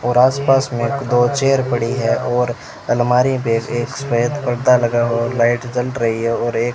और आसपास में एक दो चेयर पड़ी है और अलमारी पे एक सफेद पर्दा लगा हुआ है लाइट जल रही है और एक --